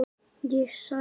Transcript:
Ég sagði